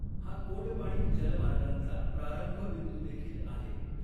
हा कोंडपाणी जलमार्गांचा प्रारंभ बिंदू देखील आहे.